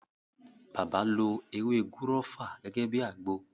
Bàbá lo “ewé gúrọ́fà” gẹ́gẹ́ bíi àgbo.